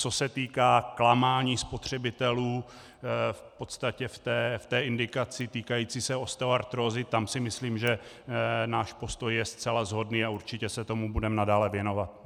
Co se týká klamání spotřebitelů v podstatě v té indikaci týkající se osteoartrózy, tam si myslím, že náš postoj je zcela shodný, a určitě se tomu budeme nadále věnovat.